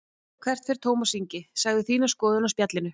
Hvert fer Tómas Ingi, segðu þína skoðun á Spjallinu